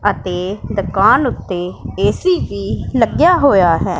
ਅਤੇ ਦੁਕਾਨ ਉੱਤੇ ਏ_ਸੀ ਵੀ ਲੱਗਿਆ ਹੋਇਆ ਹੈ।